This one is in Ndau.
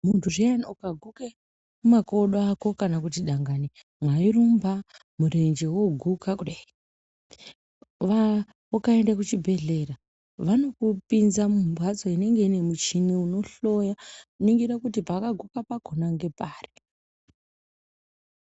Muntu zviya ukaguke makodo ako kana kuti dangani mwairumba murenje woguka kudai. Ukaende kuchibhedhlera vanokupinze mumhatso inenge ine muchini unohloya kuni gore kuti pakaguka pakhona ngepari.